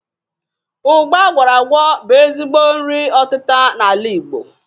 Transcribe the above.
Ụgba agwọrọ agwọ bu ezigbo nri ọtita ala Igbo.